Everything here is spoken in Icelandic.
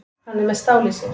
Hann er með stál í sér.